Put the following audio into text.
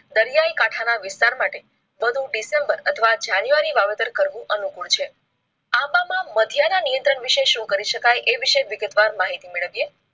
દરિયાઈ કાંઠા ના વિસ્તાર માટે વધુ ડિસેમ્બર અથવા જાન્યુઆરી વાવેતર કરવું અનુકૂળ છે. આંબામાં મધ્ય ના નિયંત્રણ વિશે શું કરી શકાય એ વિશે વિગતવાર માહિતી મેળવી